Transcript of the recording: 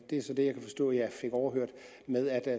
det er så det jeg kan forstå jeg fik overhørt hvor